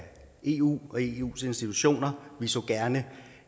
eu og eus institutioner vi så gerne